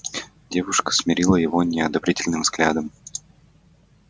девушка смерила его неодобрительным взглядом